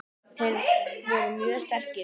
Þeir voru mjög sterkir.